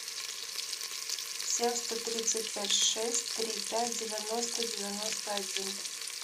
семь сто тридцать пять шесть три пять девяносто девяносто один